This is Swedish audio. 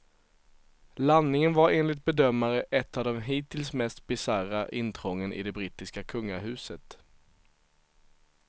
Landningen var enligt bedömare ett av de hittills mest bisarra intrången i det brittiska kungahuset.